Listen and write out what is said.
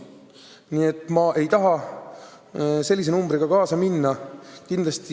Nii et ma ei tahaks sellise väitega kaasa minna.